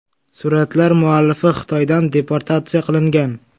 Suratlar muallifi Xitoydan deportatsiya qilingan.